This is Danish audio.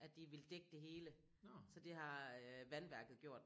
At de ville dække det hele så det har vandværket gjort